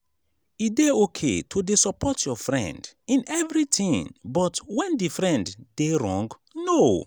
e de okay to de support your friend in everything but when di friend de wrong? no